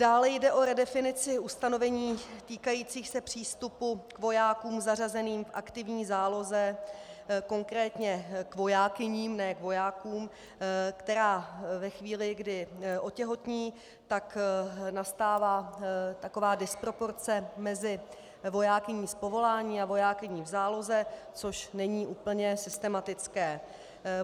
Dále jde o redefinici ustanovení týkajících se přístupu k vojákům zařazeným v aktivní záloze, konkrétně k vojákyním, ne k vojákům, které ve chvíli, kdy otěhotní, tak nastává taková disproporce mezi vojákyní z povolání a vojákyní v záloze, což není úplně systematické.